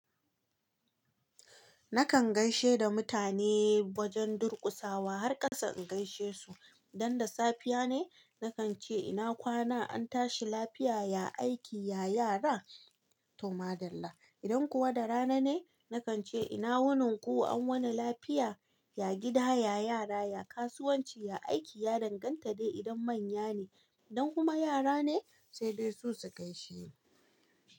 Nakan gaishe da mutane wajen durƙusawa har ƙasa in gaishe su. Idan da safiya ne nakan ce "ina kwana an tashi lafiya, ya aiki, ya yara?" Toma dalla. Idan kuwa da rana ne nakan ce "ina wurin ku an wuni lafiya? Ya gida, ya yara, ya kasuwanci, ya aiki, ya danganta dai idan manya ne. Idan kuma yara ne, sai dai su su gaishini.